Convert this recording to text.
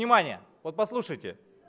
внимание вот послушайте